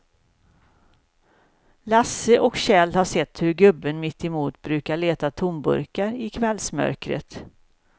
Lasse och Kjell har sett hur gubben mittemot brukar leta tomburkar i kvällsmörkret.